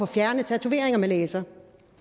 fjerne tatoveringer med laser